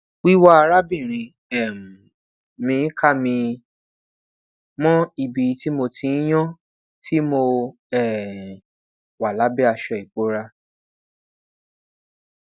wiwa arabinrin um mi ka mi mọ ibi ti mo ti n yan ti mo um wa labẹ aṣọ ibora